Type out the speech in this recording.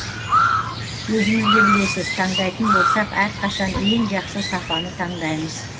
өзіңіз де білесіз таңдайтын болсақ әрқашан ең жақсы сапаны таңдаймыз